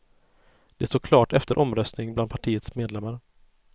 Det står klart efter en omröstning bland partiets medlemmar.